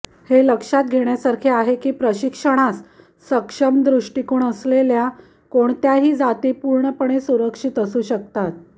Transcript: हे लक्षात घेण्यासारखे आहे की प्रशिक्षणास सक्षम दृष्टिकोन असलेल्या कोणत्याही जाती पूर्णपणे सुरक्षित असू शकतात